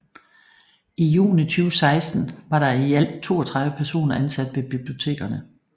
I juni 2016 var der i alt 32 personer ansat ved bibliotekerne